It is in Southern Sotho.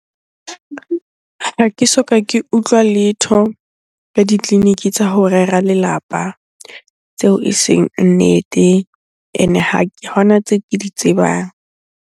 Ha ke soka ke utlwa letho la ditleliniki tsa ho rera lelapa tseo eseng nnete. Ene ha hona tseo ke di tsebang.